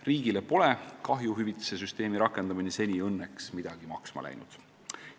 Riigile pole kahjuhüvitise süsteemi rakendamine seni õnneks midagi maksma läinud.